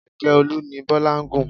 Kẹ̀kẹ́ Olu ni Bọ́lá gùn.